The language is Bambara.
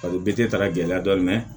A bɛ bɛɛ te ta ka gɛlɛya dɔɔni mɛ